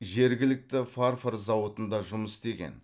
жергілікті фарфор зауытында жұмыс істеген